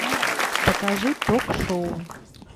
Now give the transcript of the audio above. покажи ток шоу